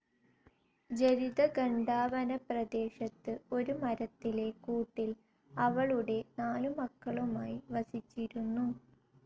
ജരിത ഘണ്ടാവന പ്രദേശത്ത് ഒരു മരത്തിലെ കൂട്ടിൽ അവളുടെ നാലുമക്കളുമായി വസിച്ചിരുന്നു.